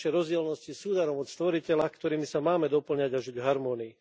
Naše rozdielnosti sú darom od Stvoriteľa, ktorými sa máme dopĺňať a žiť v harmónii.